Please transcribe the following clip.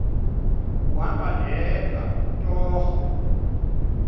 kuhamba ndedwa torho